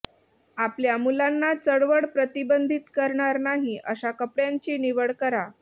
आपल्या मुलांना चळवळ प्रतिबंधित करणार नाही अशा कपड्यांची निवड करा